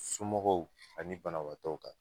Somɔgɔw ani banabaatɔw kan